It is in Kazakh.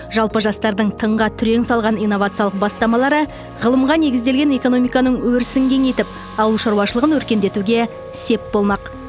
жалпы жастардың тыңға түрең салған инновациялық бастамалары ғылымға негізделген экономиканың өрісін кеңейтіп ауыл шаруашылығын өркендетуге сеп болмақ